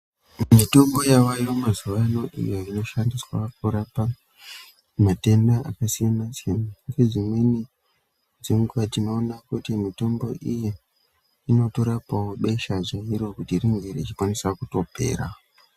Mitombo yavayo mazuva ano iyo inoshandiswa kurapa matenda akasiyana siyana nezvimweni tinoona kuti mitombo iyi inotorapawo beshe chigwinyorewo richikasira kupera.